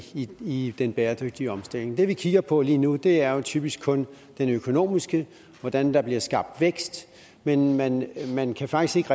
i den bæredygtige omstilling det vi kigger på lige nu er jo typisk kun den økonomiske hvordan der bliver skabt vækst men man man kan faktisk